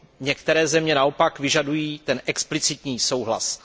Některé země naopak vyžadují explicitní souhlas.